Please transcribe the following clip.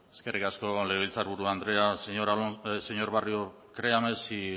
eskerrik asko legebiltzarburu andrea señor barrio créame si